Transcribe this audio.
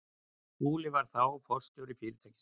Skúli var þá forstjóri fyrirtækisins.